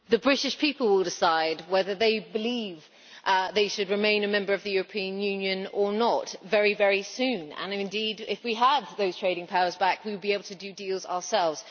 The British people will decide whether they believe they should remain a member of the European Union or not very soon and, indeed, if we have those trading powers back, we will be able to do deals ourselves.